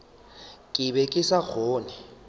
ke be ke sa kgone